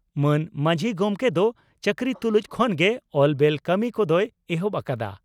ᱢᱟᱱ ᱢᱟᱹᱡᱷᱤ ᱜᱚᱢᱠᱮ ᱫᱚ ᱪᱟᱹᱠᱨᱤ ᱛᱩᱞᱩᱡ ᱠᱷᱚᱱ ᱜᱮ ᱮᱞᱵᱮᱞ ᱠᱟᱹᱢᱤ ᱠᱚᱫᱚᱭ ᱮᱦᱚᱵ ᱟᱠᱟᱫᱼᱟ ᱾